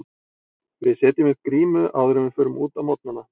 Við setjum upp grímu áður en við förum út á morgnana.